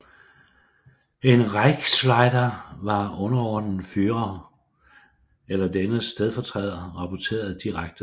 En Reichsleiter var underordnet Führer eller dennes stedfortræder rapporterede direkte til ham